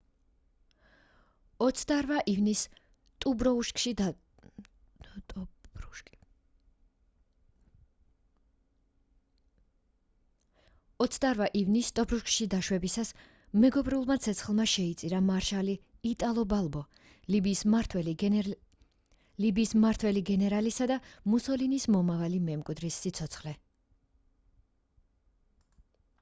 28 ივნისს ტობრუკში დაშვებისას მეგობრულმა ცეცხლმა შეიწირა მარშალი იტალო ბალბო ლიბიის მმართველი გენერალისა და მუსოლინის მომავალი მემკვიდრის სიცოცხლე